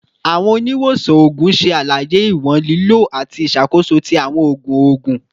Awọn oniwosan oogun ṣe alaye iwọn lilo ati iṣakoso ti awọn oogun oogun